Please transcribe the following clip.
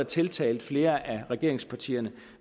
tiltale flere af regeringspartierne